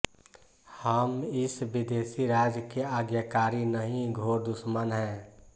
हम इस विदेशी राज के आज्ञाकारी नहीं घोर दुश्मन हैं